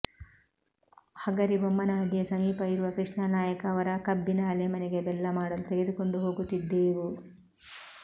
ಹಗರಿಬೊಮ್ಮನಹಳ್ಳಿಯ ಸಮೀಪ ಇರುವ ಕೃಷ್ಣಾ ನಾಯಕ್ ಅವರ ಕಬ್ಬಿನ ಅಲೆಮನೆಗೆ ಬೆಲ್ಲ ಮಾಡಲು ತೆಗೆದುಕೊಂಡು ಹೋಗುತ್ತಿದ್ದೇವು